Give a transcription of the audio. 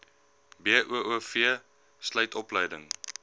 boov sluit opleiding